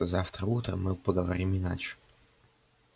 завтра утром мы поговорим иначе